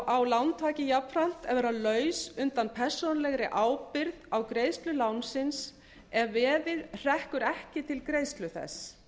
á lántaki jafnframt að vera laus undan persónulegri ábyrgð á greiðslu lánsins ef veðið hrekkur ekki til greiðslu þess